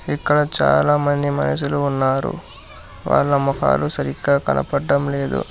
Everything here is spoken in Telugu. ఇక్కడ చాలామంది మనుషులు ఉన్నారు వాళ్ళ మొఖాలు సరిగ్గా కనపడ్డం లేదు.